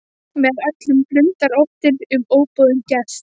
Með öllum blundar óttinn um óboðinn gest.